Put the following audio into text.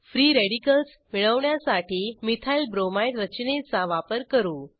free radicals मिळवण्यासाठी methyl bromide रचनेचा वापर करू